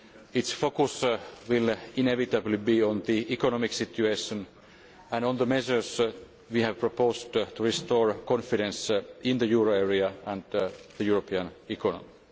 Its focus will inevitably be on the economic situation and on the measures we have proposed to restore confidence in the euro area and the European economy.